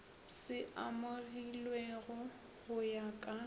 se amogilwego go ya ka